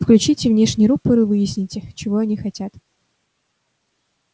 включите внешний рупор и выясните чего они хотят